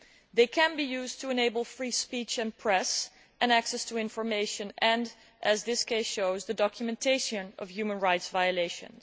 They can be used to enable free speech, freedom of the press and access to information and, as this case shows, the documentation of human rights violations.